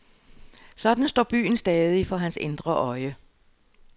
Sådan står byen stadig for hans indre øje.